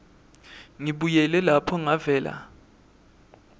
ngibuyele lapho ngavela